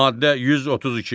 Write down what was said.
Maddə 132.